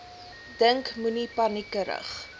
dink moenie paniekerig